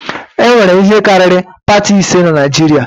E nwere ihe karịrị pati ise na Naịjirịa